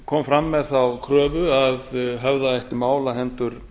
kom fram með þá kröfu að höfða ætti mál á hendur